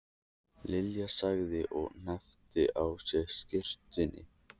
Lilja þagði og hneppti að sér skyrtunni.